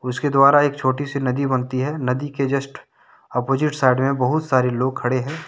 उसके द्वारा एक छोटी सी नदी बनती है नदी के जस्ट ऑपोजिट साइड में बहुत सारे लोग खड़े हैं।